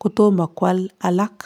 kotomo kwal alak.